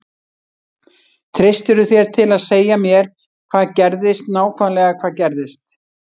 Treystirðu þér til að segja mér hvað gerðist nákvæmlega hvað gerðist?